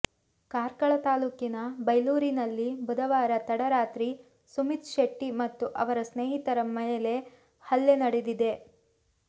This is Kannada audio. ಕಾರ್ಕಳ ತಾಲೂಕಿನ ಬೈಲೂರಿನಲ್ಲಿ ಬುಧವಾರ ತಡರಾತ್ರಿ ಸುಮಿತ್ ಶೆಟ್ಟಿ ಮತ್ತು ಅವರ ಸ್ನೇಹಿತರ ಮೇಲೆ ಹಲ್ಲೆ ನಡೆದಿದೆ